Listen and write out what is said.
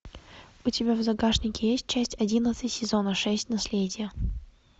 у тебя в загашнике есть часть одиннадцать сезона шесть наследие